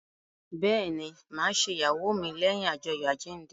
Bẹẹni, ma ṣe ìyàwó mi leyin ajoyo àjíǹde